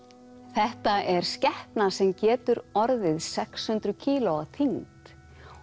þetta er skepna sem getur orðið sex hundruð kíló á þyngd